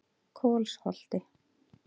Kolsholti